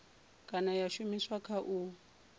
kana ya shumiswa kha u